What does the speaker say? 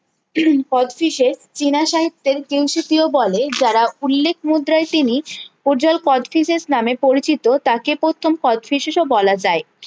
কথফিসে চেনা সাহিত্যের কিউ সি কিউ বলে যারা উল্লেখ মুদ্রায় তিনি উজাল কথফিসেস নামে পরিচিত তাকে প্রথম কথফিসেস ও বলা যায়